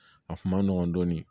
A kun ma nɔgɔn dɔɔnin